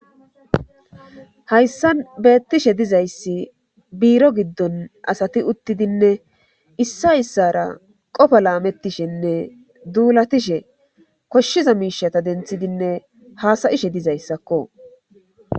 Hayssan beettishe dizayssi biiro giddon asati uttidinne issa issara qofa laamettishenne duulatishe koshshiza miishata denthidinne haasayishe dizayssakko.